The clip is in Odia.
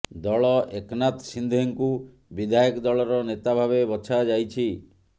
ଦଳ ଏକନାଥ ସିନ୍ଧେଙ୍କୁ ବିଧାୟକ ଦଳର ନେତା ଭାବେ ବଛାଯାଇଛି